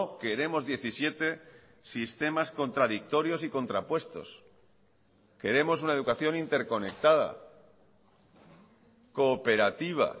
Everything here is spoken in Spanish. queremos diecisiete sistemas contradictorios y contrapuestos queremos una educación interconectada cooperativa